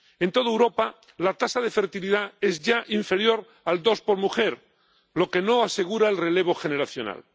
En toda Europa, la tasa de fertilidad es ya inferior al 2 por mujer, lo que no asegura el relevo generacional.